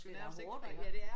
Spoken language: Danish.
Det er hårdt iggå